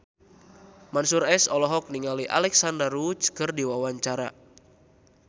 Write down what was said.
Mansyur S olohok ningali Alexandra Roach keur diwawancara